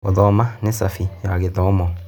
Gũthoma nĩ cabi ya gĩthomo.